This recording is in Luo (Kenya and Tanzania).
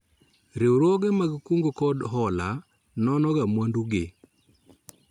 Riwruoge mag kungo kod hola nono ga mwandu gi